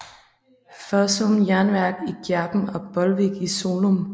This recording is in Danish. Fossum Jernværk i Gjerpen og Bolvik i Solum